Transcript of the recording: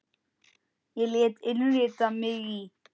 Ég lét innrita mig í